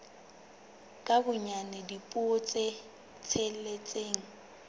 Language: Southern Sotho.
ka bonyane dipuo tse tsheletseng